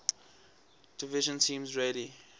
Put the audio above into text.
division teams rarely